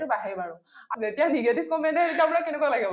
সেইটো বাঢ়েই বাৰু । যেতিয়া negative comment আহে তেতিয়া আপোনাৰ কেনে লাগে বাৰু ?